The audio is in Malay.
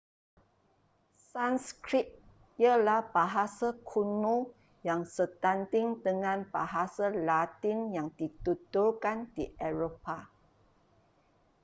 sanskrit ialah bahasa kuno yang setanding dengan bahasa latin yang dituturkan di eropah